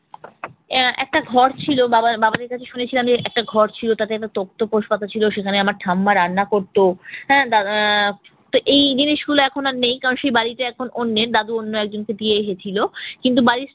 আহ একটা ঘর ছিলো বাবা বাবাদের কাছে শুনেছিলাম যে একটা ঘর ছিল, তাতে আবার তক্তপোস পাতা ছিল, সেখানে আমার ঠাম্মা রান্না করত। আহ তো এই জিনিসগুলো এখন আর নেই। কারণ সে বাড়িটা এখন অন্যের দাদু অন্য একজনকে দিয়ে এসেছিল। কিন্তু বাড়ির